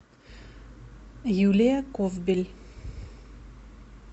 юлия ковбель